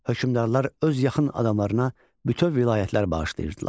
Hökmdarlar öz yaxın adamlarına bütöv vilayətlər bağışlayırdılar.